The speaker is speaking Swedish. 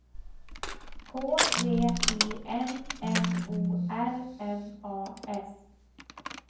K V I N N O R N A S